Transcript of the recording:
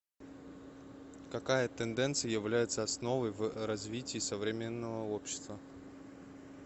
какая тенденция является основой в развитии современного общества